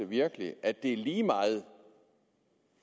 virkelig er at det er lige meget